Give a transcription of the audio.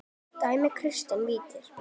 Dæmir Kristinn víti?